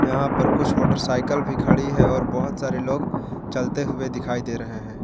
यहां पर कुछ मोटरसाइकिल भी खड़ी है और बहुत सारे लोग चलते हुए दिखाई दे रहे हैं।